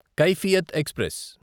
Kaifiyat express